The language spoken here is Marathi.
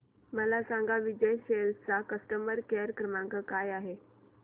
मला सांगा विजय सेल्स चा कस्टमर केअर क्रमांक काय आहे